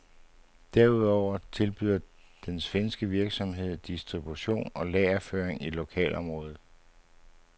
Derudover tilbyder den svenske virksomhed distribution og lagerføring i lokalområdet.